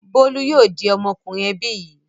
Bólú yóò di ọmọkùnrin ẹbí yìí.